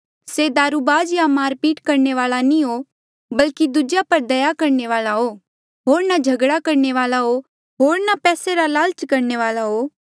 से दारुबाज या मारपीट करणे वाल्आ नी हो बल्की दूजेया पर दया करणे वाल्आ हो होर ना झगड़ा करणे वाल्आ हो होर ना पैसे रा लालच करणे वाल्आ हो